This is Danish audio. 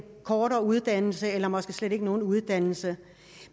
kortere uddannelse eller måske slet ikke nogen uddannelse